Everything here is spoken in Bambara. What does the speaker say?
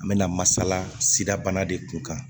An bɛ na masalasida bana de kun kan